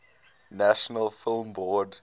national film board